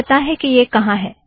मुझे पता है कि यह कहाँ है